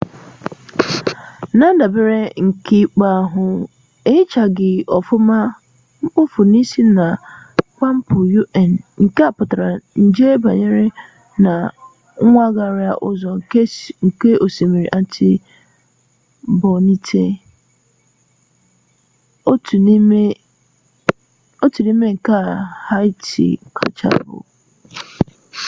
na-ndabere n'ikpe ahụ ehichaghị ọfụma mkpofu si na kampụ un nke na-akpata nje ịbanye nna nwaghara ụzọ nke osimiri artibonite otu n'ime nke haịti kachasị ibu